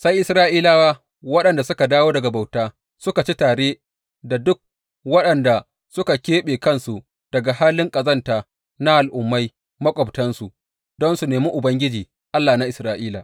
Sai Isra’ilawa waɗanda suka dawo daga bauta suka ci tare da duk waɗanda suka keɓe kansu daga halin ƙazanta na Al’ummai maƙwabtansu, don su nemi Ubangiji, Allah na Isra’ila.